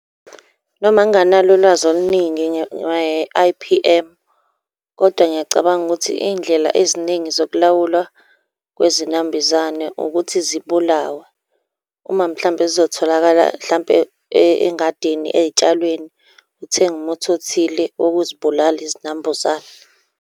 Noma nginganalo ulwazi oluningi nge-I_P_M, kodwa ngiyacabanga ukuthi iy'ndlela eziningi zokulawulwa kwezinambuzane ukuthi zibulawe. Uma mhlampe zizotholakala hlampe engadini ey'tshalweni, uthenge umuthi othile wokuzibulala izinambuzane.